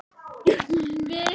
Við sitjum kyrr um hríð.